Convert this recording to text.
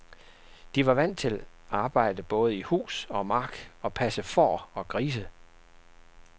De var vant til arbejde både i hus og mark og passe får og grise.